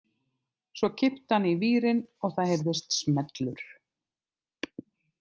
Svo kippti hann í vírinn og það heyrðist smellur.